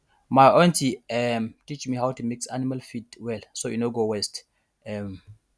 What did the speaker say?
my aunty um teach me how to mix animal feed well so e no go waste um